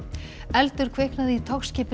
eldur kviknaði í